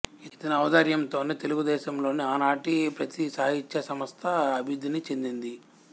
ఇతని ఔదార్యముతోనే తెలుగుదేశములోని ఆనాటి ప్రతి సాహిత్యసంస్థ అభివృద్ధిని చెందింది